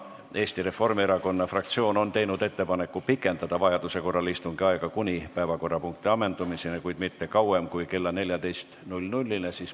Eesti Reformierakonna fraktsioon on teinud ettepaneku pikendada vajaduse korral istungi aega kuni päevakorrapunkti ammendumiseni, kuid mitte kauem kui kella 14-ni.